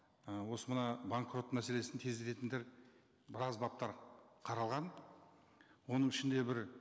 і осы мына банкрот мәселесін тездететіндер біраз баптар қаралған оның ішінде бір